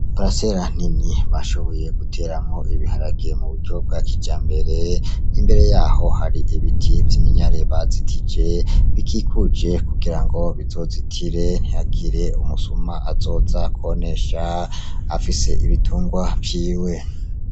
Paresera nini bashoboye guteramwo ibiharage muburyo bwa kijambere, imbere yaho hari ibiti vy'iminyare bazitije bikikuje kugirango bizozitire ntihagire umususa azoza konesha afise ibitungwa vyiwe.